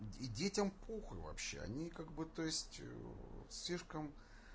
детям похуй вообще они как бы то есть слишком